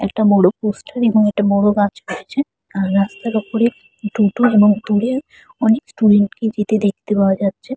একটা বড় পোস্টার এবং একটা বড় গাছ পড়ছে। রাস্তার ওপরে দুটো এবং দূরে অনেক স্টুডেন্ট -কে যেতে দেখতে পাওয়া যাচ্ছে।